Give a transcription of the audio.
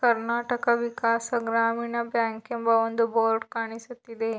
Karnataka Vikas Grameena bank ಎಂಬ ಒಂದು board ಕಾಣಿಸುತ್ತಿದೆ.